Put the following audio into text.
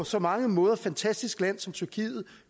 så mange måder fantastisk land som tyrkiet